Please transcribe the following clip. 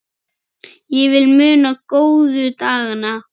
Ég vil muna góðu dagana.